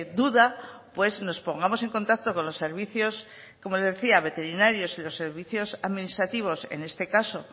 duda pues nos pongamos en contacto con los servicios veterinarios y los servicios administrativos en este caso